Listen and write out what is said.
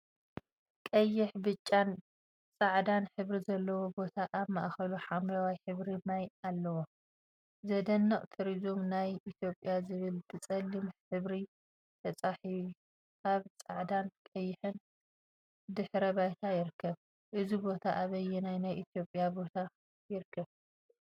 ቀይሕ፣ ብጫን ፃዕዳን ሕብሪ ዘለዎ ቦታ አብ ማከሉ ሓምለዋይ ሕብሪ ማይ አለዎ፡፡ ዘደንቅ ቱሪዝም ናይ ኢትዮጵያ ዝብል ብፀሊም ሕብሪ ተፃሒ አብ ፃዕዳን ቀይሕን ድሕረ ባይታ ይርከብ፡፡ እዚ ቦታ አበየናይ ናይ ኢትዮጵያ ቦታ ይርከብ?